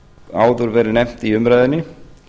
áður verið nefnt í umræðunni